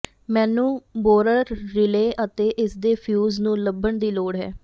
ਮੈਨੂੰ borer relay ਅਤੇ ਇਸਦੇ ਫਿਊਜ਼ ਨੂੰ ਲੱਭਣ ਦੀ ਲੋੜ ਹੈ